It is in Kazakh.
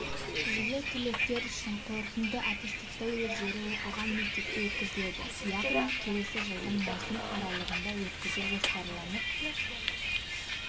жылы түлектер үшін қорытынды аттестаттау өздері оқыған мектепте өткізіледі яғни келесі жылдың маусым аралығында өткізу жоспарланып